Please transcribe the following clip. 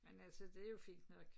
Men altså det jo fint nok